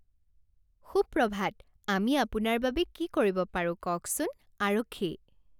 সুপ্ৰভাত আমি আপোনাৰ বাবে কি কৰিব পাৰো কওকচোন? আৰক্ষী